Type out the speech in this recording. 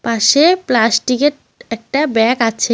পাশে প্লাস্টিকের একটা ব্যাগ আছে।